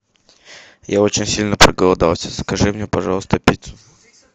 я очень сильно проголодался закажи мне пожалуйста пиццу